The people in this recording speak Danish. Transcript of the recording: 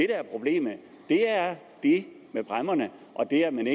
er problemet er det med bræmmerne og det at man